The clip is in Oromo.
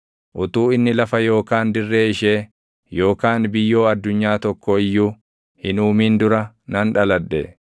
utuu inni lafa yookaan dirree ishee yookaan biyyoo addunyaa tokko iyyuu // hin uumin dura nan dhaladhe.